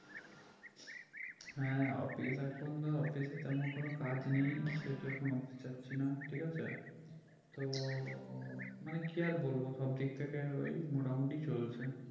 হ্যাঁ office এখন ধরো office এতেমন কোনো কাজ নেই সেই তো এখন office যাচ্ছি না ঠিক আছে তো মানে কি আর বলবো সব দিক থেকে ওই মোটামোটি চলছে